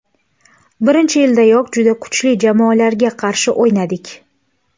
Birinchi yildayoq juda kuchli jamoalarga qarshi o‘ynadik.